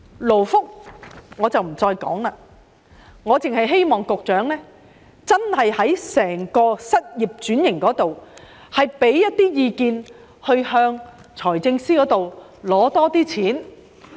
我不再談及勞工及福利，我只希望局長就失業轉型方面提供一些意見，向財政司司長多申請撥款。